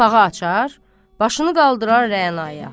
Qapağı açar, başını qaldırar Rə'naya.